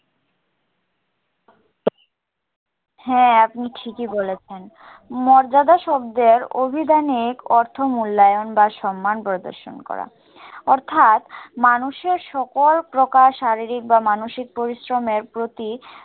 হ্যাঁ, আপনি ঠিকই বলেছেন। মর্যাদা শব্দের অভিধানিক অর্থ মুল্যায়ন বা সম্মান প্রদর্শন করা। অর্থাৎ মানুষের সকল প্রকার শারীরিক বা মানসিক পরিশ্রমের প্রতি